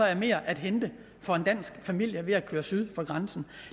er mere at hente for en dansk familie ved at køre syd for grænsen